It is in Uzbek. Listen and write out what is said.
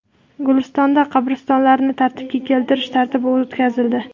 Gulistonda qabristonlarni tartibga keltirish tadbiri o‘tkazildi.